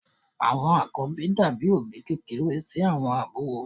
Àwọn àkọ́bí dàbí òbí kékeré sí àwọn àbúrò.